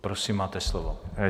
Prosím, máte slovo.